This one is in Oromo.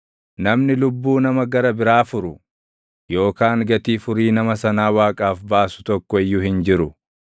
Namni lubbuu nama gara biraa furu, yookaan gatii furii nama sanaa Waaqaaf baasu tokko iyyuu hin jiru;